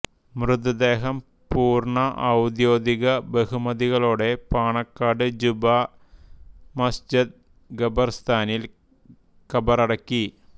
മൃതദേഹം പൂർണ ഔദ്യോഗിക ബഹുമതികളോടെ പാണക്കാട് ജുമാ മസ്ജിദ് ഖബർസ്ഥാനിൽ കബറടക്കി